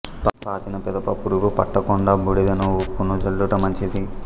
పాతిన పిదప పురుగు పట్ట కుండ బూడిదను ఉప్పును జల్లుట మంచిది